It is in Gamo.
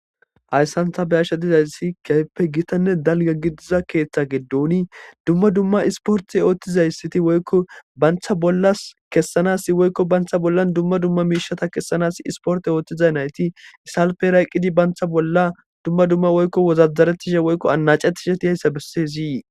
hayssan ta be'ashshe dizayssi keeppe gitanne dalgagi diza keeththe geddoni dumma dumma isporti oothtizayssiti woykko bantha bollas kessanas woykko bantha bollan dumma dumma miishata kessanas isporte oothtizay nayti isalpe rayqqidi bantha bolla dumma dumma woykko wozazarettishe woykko anacetishe dizayssa bessesi